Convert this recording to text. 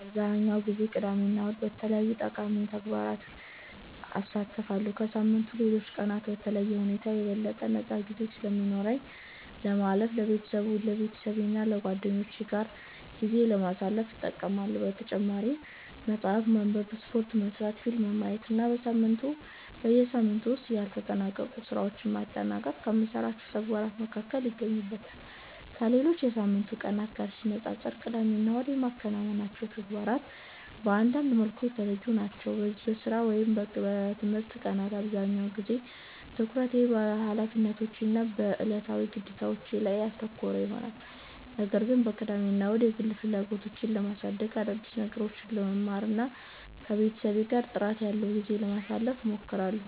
አብዛኛውን ጊዜ ቅዳሜና እሁድን በተለያዩ ጠቃሚ ተግባራት አሳልፋለሁ። ከሳምንቱ ሌሎች ቀናት በተለየ ሁኔታ የበለጠ ነፃ ጊዜ ስለሚኖረኝ ለማረፍ፣ ከቤተሰቤና ከጓደኞቼ ጋር ጊዜ ለማሳለፍ እጠቀማለሁ። በተጨማሪም መጽሐፍ ማንበብ፣ ስፖርት መሥራት፣ ፊልም ማየት እና በሳምንቱ ውስጥ ያልተጠናቀቁ ሥራዎችን ማጠናቀቅ ከምሠራቸው ተግባራት መካከል ይገኙበታል። ከሌሎች የሳምንቱ ቀናት ጋር ሲነጻጸር ቅዳሜና እሁድ የማከናውናቸው ተግባራት በአንዳንድ መልኩ የተለዩ ናቸው። በሥራ ወይም በትምህርት ቀናት አብዛኛውን ጊዜ ትኩረቴ በኃላፊነቶቼ እና በዕለታዊ ግዴታዎቼ ላይ ያተኮረ ይሆናል። ነገር ግን በቅዳሜና እሁድ የግል ፍላጎቶቼን ለማሳደግ፣ አዳዲስ ነገሮችን ለመማር እና ከቤተሰቤ ጋር ጥራት ያለው ጊዜ ለማሳለፍ እሞክራለሁ።